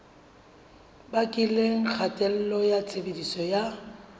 bakileng kgatello ya tshebediso ya